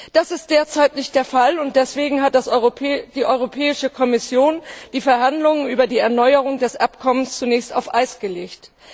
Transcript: Das ist derzeit nicht der Fall, und deswegen hat die Europäische Kommission die Verhandlungen über die Erneuerung des Abkommens zunächst auf Eis gelegt.